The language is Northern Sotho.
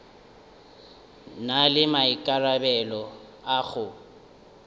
na le maikarabelo a go